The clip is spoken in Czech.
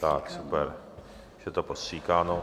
Tak super, je to postříkáno.